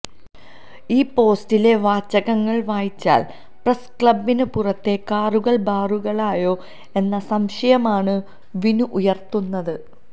ഈ പോസ്റ്റിലെ വാചകങ്ങൾ വായിച്ചാൽ പ്രസ് ക്ലബ്ബിന് പുറത്തെ കാറുകൾ ബാറുകളായോ എന്ന സംശയമാണ് വിനു ഉയർത്തുന്നത്